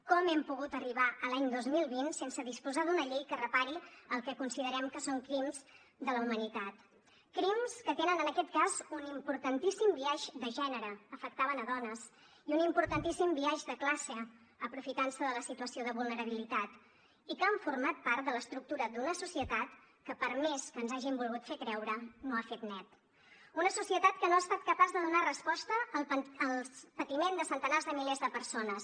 com hem pogut arribar a l’any dos mil vint sense disposar d’una llei que repari el que considerem que són crims de la humanitat crims que tenen en aquest cas un importantíssim biaix de gènere afectaven a dones i un importantíssim biaix de classe aprofitant se de la situació de vulnerabilitat i que han format part de l’estructura d’una societat que per més que ens hagin volgut fer creure no ha fet net una societat que no ha estat capaç de donar resposta al patiment de centenars de milers de persones